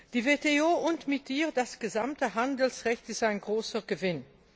Die WTO und mit ihr das gesamte Handelsrecht ist ein großer Gewinn.